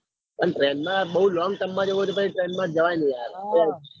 પણ train માં યાર બૌ long term માં જવું હોય તો train માં જ મજા આવે